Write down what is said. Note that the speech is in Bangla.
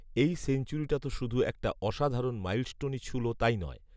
এই সেঞ্চুরিটা তো শুধু একটা অসাধারণ মাইলস্টোনই ছুঁল তাই নয়